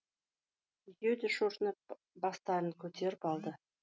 екеуі де шошынып бастарын көтеріп алды